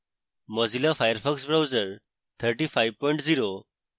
mozilla firefox browser 350